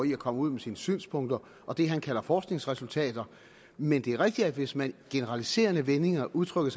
i at komme ud med sine synspunkter og det han kalder forskningsresultater men det er rigtigt at hvis man i generaliserende vendinger udtrykker